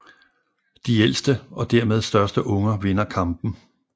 De ældste og dermed største unger vinder kampen